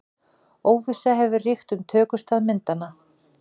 Óvissa hefur ríkt um tökustað myndanna